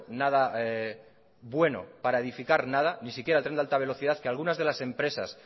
nada bueno para edificar nada ni siquiera el tren de alta velocidad que algunas de las empresas